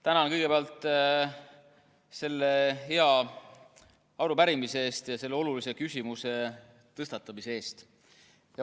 Tänan kõigepealt selle hea arupärimise eest ja selle olulise küsimuse tõstatamise eest!